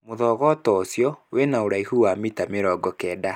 Mũthogoto ũcio wena ũraihu wa mita mĩirongo kenda.